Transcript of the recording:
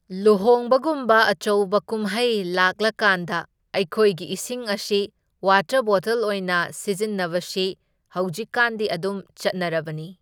ꯂꯨꯍꯣꯡꯕꯒꯨꯝꯕ ꯑꯆꯧꯕ ꯀꯨꯝꯍꯩ ꯂꯥꯛꯂꯀꯥꯟꯗ ꯑꯈꯣꯏꯒꯤ ꯏꯁꯤꯡ ꯑꯁꯤ ꯋꯥꯇꯔ ꯕꯣꯇꯜ ꯑꯣꯏꯅ ꯁꯤꯖꯤꯟꯅꯕꯁꯤ ꯍꯧꯖꯤꯛꯀꯥꯟꯗꯤ ꯑꯗꯨꯝ ꯆꯠꯅꯔꯕꯅꯤ꯫